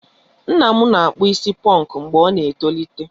Nna m na-akpụ isi ponku mgbe ọ ná-etolite.